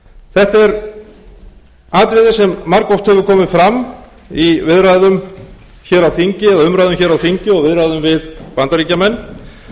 þetta er atriði sem margoft hefur komið fram í viðræðum hér á þingi eða umræðum hér á þingi og viðræðum við bandaríkjamenn